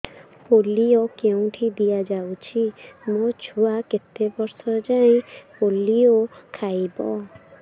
polio କେଉଁଠି ଦିଆଯାଉଛି ମୋ ଛୁଆ କେତେ ବର୍ଷ ଯାଏଁ ପୋଲିଓ ଖାଇବ